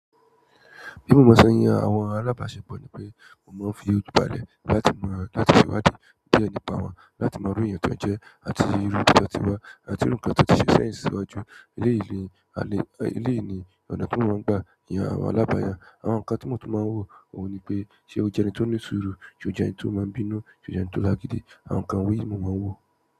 Bí mo sen yàn àwọn alábàṣepọ̀ ni pé mo máa ń fi ojú balẹ̀ láti ṣe ìwádìí nípa wọn láti mo irú èyàn tí wọ́n jẹ́ àti irú ibi tí wọ́n tí wà àti irú ǹkan tí wọ́n ti ṣe sẹ́yìn síwájú. Eléyi ni ọ̀nà tí moun gba yàn àwọn alabarin. Àwọn ǹkan tí mò tún máa ń wò ó ní pé ṣé ó jẹ́ ẹni tó ní sùúrù? Ṣé ó jẹ́ ẹni tó máa ń bínú? Ṣé ó jẹ́ ẹni tó lágídí? Àwọn ǹkan wọ̀n yìí ni mo máa ń wò.